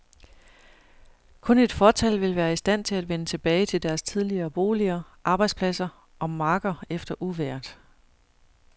Kun et fåtal vil være i stand til at vende tilbage til deres tidligere boliger, arbejdspladser og marker efter uvejret.